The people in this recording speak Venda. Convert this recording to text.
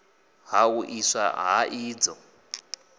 ha u iswa ha idzo